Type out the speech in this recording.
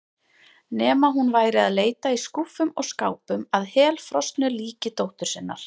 Nema hún væri að leita í skúffum og skápum að helfrosnu líki dóttur sinnar.